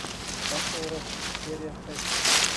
касл рок серия шесть